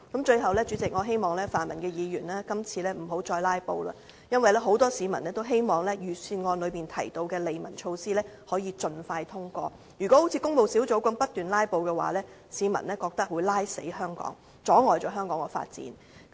最後，主席，我希望泛民議員今次不要再"拉布"，因為很多市民也希望預算案裏面提到的利民措施可以盡快通過，如果好像工務小組委員會那樣不斷"拉布"，市民覺得會拖垮香港，阻礙香港的發展。